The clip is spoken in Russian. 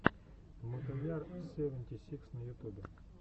мотояр севенти сикс на ютубе